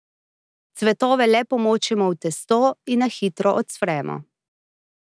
Cvetove le pomočimo v testo in na hitro ocvremo.